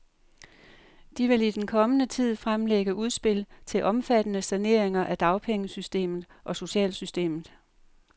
De vil i den kommende tid fremlægge udspil til omfattende saneringer af dagpengesystemet og socialsystemet.